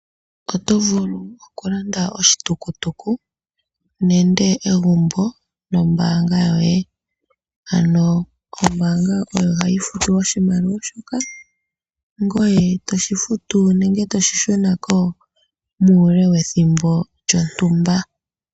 Oto vulu okulanda oshitukutuku nenge egumbo nombaanga yoye. Ombaanga oyo hayi futu oshimaliwa shoka, ngoye toshi shunitha nenge toshi futu muule wethimbo lyontumba.